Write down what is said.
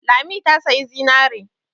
Lami ta sayi zinare.